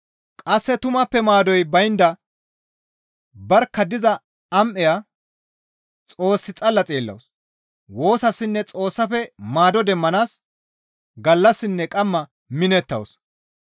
Qasse tumappe maadoy baynda barkka diza am7eya Xoos xalla xeellawus; woosassinne Xoossafe maado demmanaas gallassinne qamma minettawus.